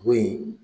Bo in